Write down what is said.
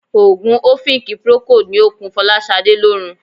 Òogùn ọ̀fìnkì Procold ni ó ń kun Fọláṣadé lórun.